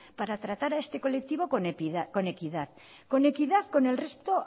para tratar a este colectivo con equidad con equidad con el resto